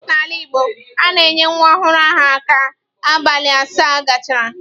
N'ala Igbo, a na-enye nwa ọhụrụ aha ka abalị asaa gachara.